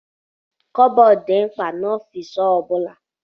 Kọbọd dị mkpa na ọfiisi ọbula.